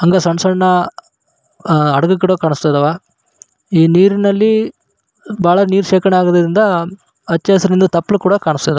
ಹಂಗ ಸಣ್ಣ ಸಣ್ಣ ಹಡಗುಗಳು ಕಾಣಿಸ್ತಾ ಇದಾವ ಈ ನೀಲಿನಲ್ಲಿ ಬಹಳ ನೀರ್ ಶೇಖರಣೆ ಆಗಿರೋದ್ರಿಂದ ಹಚ್ಚ ಹಸುರಿನ ತಪ್ಪಲು ಕೂಡ ಕಾಣಿಸ್ತವ.